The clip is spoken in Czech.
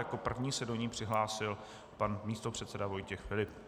Jako první se do ní přihlásil pan místopředseda Vojtěch Filip.